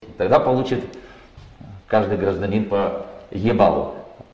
тогда получит каждый гражданин по ибалу